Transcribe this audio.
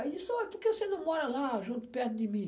Aí ele disse, ó, por que você não mora lá, junto, perto de mim?